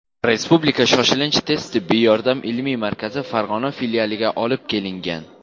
Respublika shoshilinch tez tibbiy yordam ilmiy markazi Farg‘ona filialiga olib kelingan.